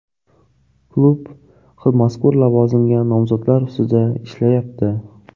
Klub mazkur lavozimga nomzodlar ustida ishlayapti.